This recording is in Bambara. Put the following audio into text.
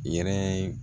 I yɛrɛ